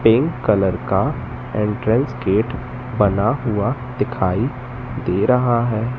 Pink colour का entrance gate बना हुआ दिखाई दे रहा है।